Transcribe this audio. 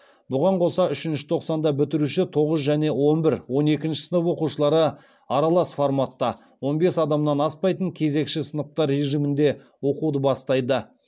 бұған қоса үшінші тоқсанда бітіруші тоғыз және он бір сынып оқушылары аралас форматта он бес адамнан аспайтын кезекші сыныптар режимінде оқуды бастайды